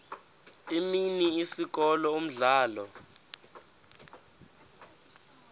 imini isikolo umdlalo